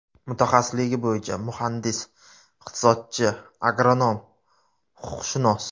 Mutaxassisligi bo‘ycha muhandis-iqtisodchi, agronom, huquqshunos.